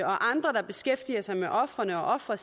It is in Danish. og andre der beskæftiger sig med ofrene og fra